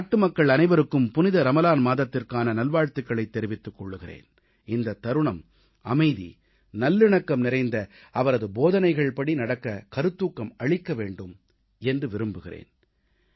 நான் நாட்டுமக்கள் அனைவருக்கும் புனித ரமலான் மாதத்திற்கான நல்வாழ்த்துகளைத் தெரிவித்துக் கொள்கிறேன் இந்தத் தருணம் அமைதி நல்லிணக்கம் நிறைந்த அவரது போதனைகள்படி நடக்க கருத்தூக்கம் அளிக்க வேண்டும் என்று விரும்புகிறேன்